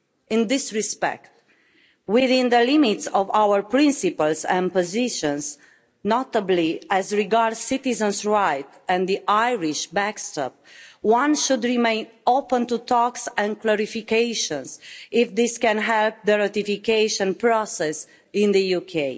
In this respect, within the limits of our principles and positions, notably as regards citizens' rights and the Irish backstop, one should remain open to talks and clarifications if this can help the ratification process in the UK.